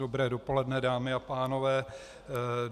Dobré dopoledne, dámy a pánové.